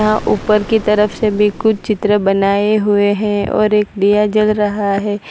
हां ऊपर की तरफ से भी कुछ चित्र बनाए हुए हैं और एक दिया जल रहा है।